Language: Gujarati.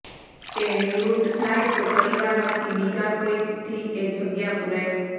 તે નિવૃત્ત થાય તો પરિવારમાંથી બીજા કોઈકથી એ જગ્યા પુરાય